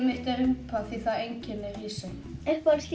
mitt er rjúpa því það einkennir Hrísey